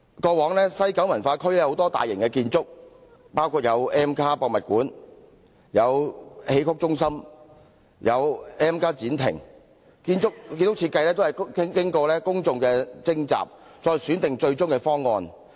過往西九文化區有多項大型建築，包括 M+ 視覺文化博物館、戲曲中心、M+ 展亭等，建築設計均須經公眾諮詢收集意見，再選定最終的方案。